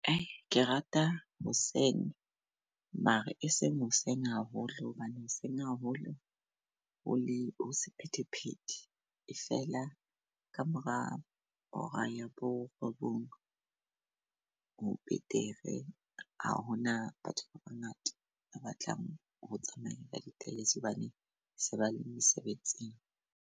Ke rata hoseng mara e seng hoseng haholo hobane hoseng haholo o le ho sephethephethe. E feela kamora hora ya borobong, ho betere. Ha hona batho ba bangata ba batlang ho tsamaya ka ditekesi hobane se ba le mesebetsing.